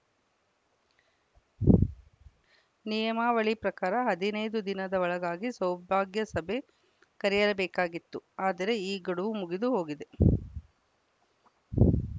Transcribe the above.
ನಿಯಮಾವಳಿ ಪ್ರಕಾರ ಹದಿನೈದು ದಿನದ ಒಳಗಾಗಿ ಸೌಭಾಗ್ಯ ಸಭೆ ಕರೆಯಬೇಕಾಗಿತ್ತು ಆದರೆ ಈ ಗಡುವು ಮುಗಿದು ಹೋಗಿದೆ